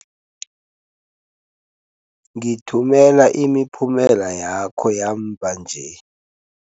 Ngithumela imiphumela yakho yamva nje.